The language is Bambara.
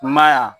I ma y'a